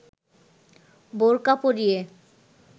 বোরকা পরিয়ে